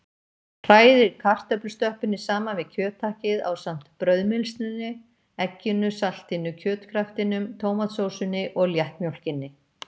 Hrærið kartöflustöppunni saman við kjöthakkið ásamt brauðmylsnunni, egginu, saltinu, kjötkraftinum, tómatsósunni og léttmjólkinni.